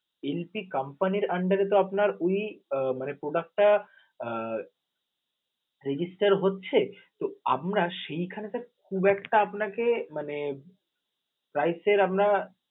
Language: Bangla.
LP company র under এ তো আপনার উনি মানে product টা আহ resgister হচ্ছে, তো আমরা সেইখানে তো খুব একটা আপনাকে মানে price এর আমরা